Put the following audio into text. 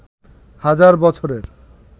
হাজার বছরের